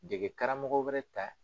Degekaraw wɛrɛ ta